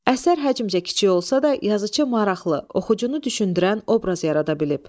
Əsər həcmcə kiçik olsa da, yazıçı maraqlı, oxucunu düşündürən obraz yarada bilib.